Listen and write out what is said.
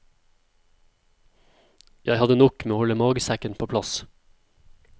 Jeg hadde nok med å holde magesekken på plass.